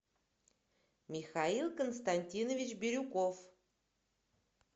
михаил константинович бирюков